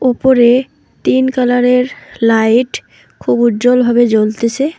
উপরে তিন কালার -এর লাইট খুব উজ্জ্বলভাবে জ্বলতেসে।